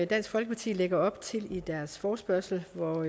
dansk folkeparti lægger op til i deres forespørgsel hvor